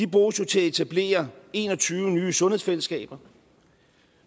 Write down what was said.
bruges jo til at etablere en og tyve nye sundhedsfællesskaber